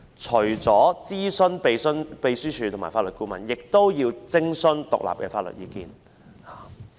除了諮詢立法會秘書處及法律顧問外，亦須徵詢獨立的法律意見。